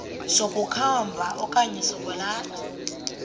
sokukhomba okanye sokwalatha